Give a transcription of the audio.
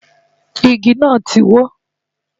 Igi náà ti wó.